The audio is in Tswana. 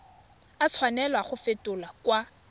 a tshwanela go fetolwa kwa